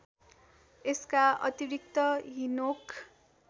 यसका अतिरिक्त हिनोक